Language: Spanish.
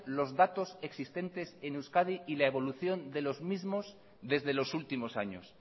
los datos existentes en euskadi y la evolución de los mismos desde los últimos años